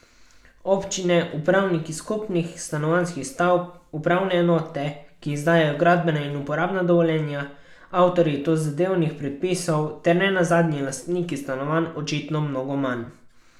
Občine, upravniki skupnih stanovanjskih stavb, upravne enote, ki izdajajo gradbena in uporabna dovoljenja, avtorji tozadevnih predpisov ter ne nazadnje lastniki stanovanj očitno mnogo manj.